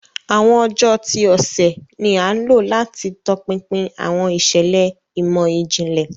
Awọn ọjọ ti ọsẹ ni a lo lati tọpinpin awọn iṣẹlẹ imọ-jinlẹ.